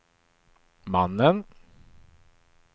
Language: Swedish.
mannen